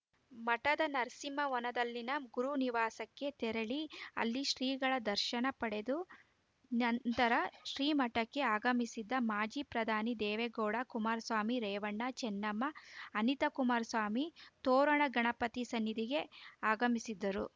ಮಠದ ನರಸಿಂಹವನದಲ್ಲಿನ ಗುರುನಿವಾಸಕ್ಕೆ ತೆರಳಿ ಅಲ್ಲಿ ಶ್ರೀಗಳ ದರ್ಶನ ಪಡೆದು ನಂತರ ಶ್ರಿಮಠಕ್ಕೆ ಆಗಮಿಸಿದ ಮಾಜಿ ಪ್ರಧಾನಿ ದೇವೆಗೌಡ ಕುಮಾರಸ್ವಾಮಿ ರೇವಣ್ಣ ಚೆನ್ನಮ್ಮ ಅನಿತಾ ಕುಮಾರಸ್ವಾಮಿ ತೋರಣಗಣಪತಿ ಸನ್ನಿಧಿಗೆ ಆಗಮಿಸಿದರು